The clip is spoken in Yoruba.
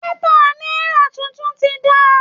Pépà Náírà tuntun tí dáa